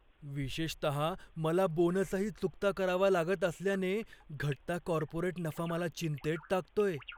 विशेषतः मला बोनसही चुकता करावा लागत असल्याने, घटता कॉर्पोरेट नफा मला चिंतेत टाकतोय.